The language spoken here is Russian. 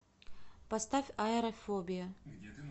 поставь аэрофобия